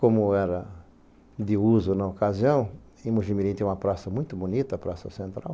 Como era de uso na ocasião, em Mogi mirim tem uma praça muito bonita, a Praça Central,